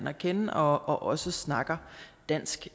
at kende og også snakker dansk